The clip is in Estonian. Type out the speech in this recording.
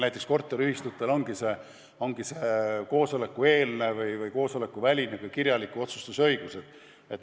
Näiteks korteriühistutel ongi see koosolekuvälise kirjaliku otsustuse õigus.